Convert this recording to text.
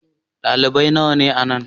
Dalibai nawa ne a nan?